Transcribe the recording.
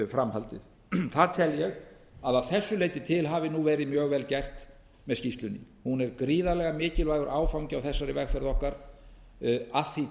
framhaldið það tel ég að að þessu leyti til hafi nú verið mjög vel gert með skýrslunni hún er gríðarlega mikilvægur áfangi á þessari vegferð okkar að því